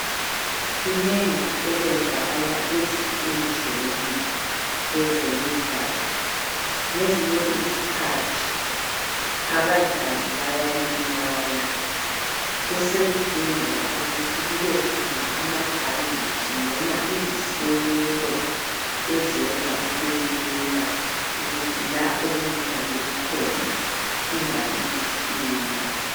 Kunengi okuwenzakala ezinkundleni kwezemidlalo. Ngezinye izikhathi abadlali bayalimala besekudingeka ukuthi kubekhona amabhanditshi noma izisekelo ezenza kube lula ukuthi la okulimale khona kungabibuhlungu.